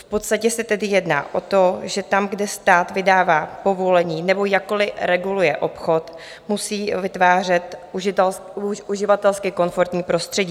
V podstatě se tedy jedná o to, že tam, kde stát vydává povolení nebo jakkoliv reguluje obchod, musí vytvářet uživatelsky komfortní prostředí.